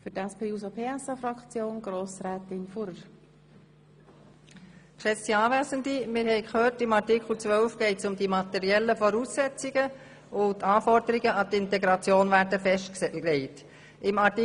Wir haben gehört, dass es in Artikel 12 um die materiellen Voraussetzungen geht, wobei die Anforderungen an die Integration festgelegt werden.